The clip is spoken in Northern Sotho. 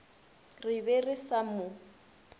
re be re sa mo